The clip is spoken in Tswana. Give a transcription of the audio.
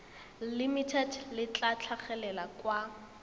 limited le tla tlhagelela kwa